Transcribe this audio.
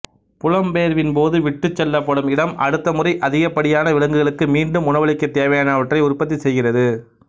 புலம்பெயர்வின்போது விட்டுச்செல்லப்படும் இடம் அடுத்த முறை அதிகப்படியான விலங்குகளுக்கு மீண்டும் உணவளிக்க தேவையானவற்றை உற்பத்தி செய்கிறது